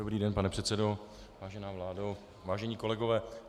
Dobrý den, pane předsedo, vážená vládo, vážení kolegové.